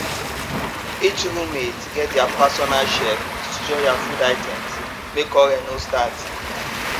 each roommate get their personal shelf to store their food items make quarrel no start